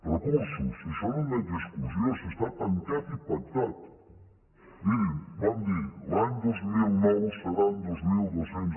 recursos si això no admet discussió si està tancat i pactat mirin vam dir l’any dos mil nou seran dos mil dos cents